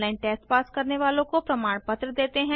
online test pass करने वालों को प्रमाण पत्र देते हैं